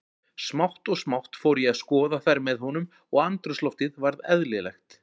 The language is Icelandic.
Smátt og smátt fór ég að skoða þær með honum og andrúmsloftið varð eðlilegt.